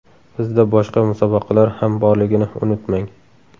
Bizda boshqa musobaqalar ham borligini unutmang!